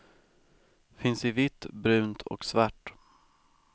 Finns i vitt, brunt och svart.